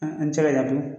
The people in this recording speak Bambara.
An tɛ se ka ɲagami